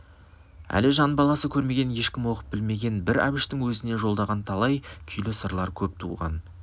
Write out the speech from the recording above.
әлі жан баласы көрмеген ешкім оқып білмеген бір әбіштің өзіне жолдаған талай күйлі сырлар көп туған